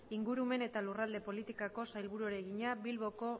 ingurumen eta lurralde politikako sailburuari egina bilboko